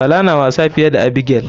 Bala na wasa fiye da abigail.